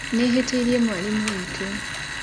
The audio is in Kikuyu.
Nĩhĩtĩĩrĩe mwarĩmũ wĩtũ.